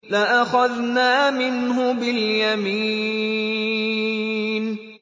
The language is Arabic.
لَأَخَذْنَا مِنْهُ بِالْيَمِينِ